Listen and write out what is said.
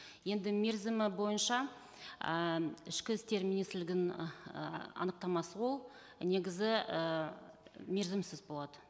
енді мерзімі бойынша ы ішкі істер министрлігінің ы анықтамасы ол негізі і мерзімсіз болады